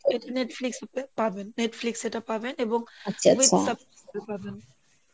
Netflix এ পাবেন Netflix এ এটা পাবেন এবং